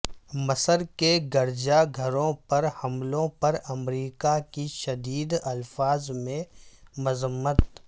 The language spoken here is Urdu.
مصر کے گرجا گھروں پر حملوں پر امریکہ کی شدید الفاظ میں مذمت